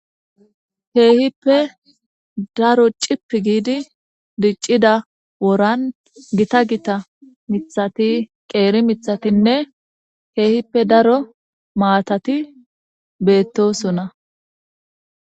Keehippe daro cip giidi diccida woran gita gita miththati qeeri mithatinne heehippe daro maatati beetosona.